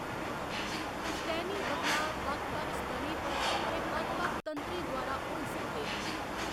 पुश्तैनी बदलाऽ बक्ख बक्ख स्तरें पर ते बक्ख बक्ख तंत्रें द्वारा होई सकदे न।